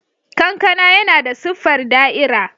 Kankana yana da siffar da'ira.